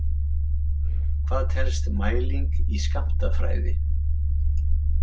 Hvað telst mæling í skammtafræði?